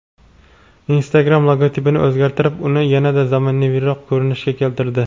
Instagram logotipini o‘zgartirib, uni yanada zamonaviyroq ko‘rinishga keltirdi.